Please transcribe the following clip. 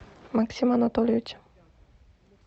максима анатольевича